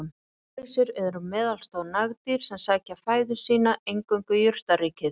Naggrísir eru meðalstór nagdýr sem sækja fæðu sína einungis í jurtaríkið.